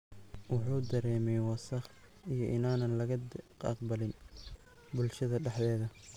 Wuxuu dareemay wasakh iyo inaan laga aqbalin bulshada dhexdeeda.